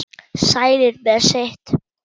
Sælir með sitt.